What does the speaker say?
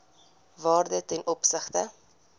waarde ten opsigte